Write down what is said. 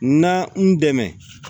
Na n dɛmɛ